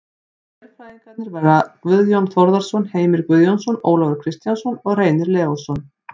Sérfræðingarnir verða Guðjón Þórðarson, Heimir Guðjónsson, Ólafur Kristjánsson og Reynir Leósson.